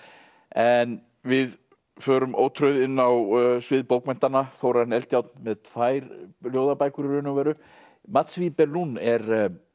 en við förum ótrauð inn á svið bókmenntanna Þórarinn Eldjárn með tvær ljóðabækur í raun og veru mats Wibe Lund er